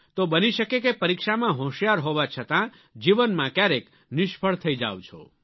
તો બની શકે કે પરીક્ષામાં હોંશિયાર હોવા છતાં જીવનમાં ક્યારેક નિષ્ફળ થઈ જાવ છો